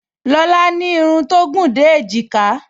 Lọlá ní irun tó gùn dé èjìká